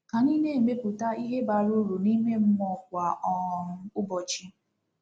Ka anyị na-emepụta ihe bara uru n'ime mmụọ kwa um ụbọchị